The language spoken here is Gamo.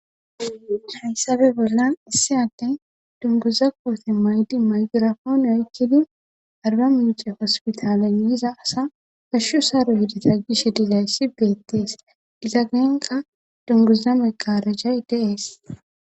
hayssape bollan issi atten dunguza koote maydi maygirafoone oykkidi arba mince hospitaale yiza asa gashshu saaro hidita gishe dizayssi betees digagnenka dunguza meqarajay deees